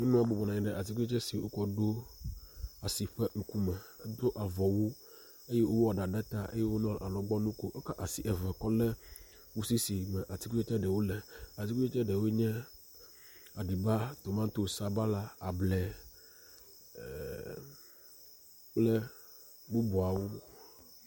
Nyɔnua bɔbɔnɔ anyi ɖe atikutsetse si wokɔ ɖo asi ƒe ŋkume. Edo avɔwu eye wowɔ ɖa ɖe ta eye wonɔ alɔgbɔnu kom. Ekɔ asi eve kɔ le kusi si me atikutsetse ɖewo le. Atikutsetse ɖewoe nye; aɖiba, tomatosi, sabala, able e… kple bubuawo.